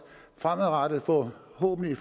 fremadrettet forhåbentlig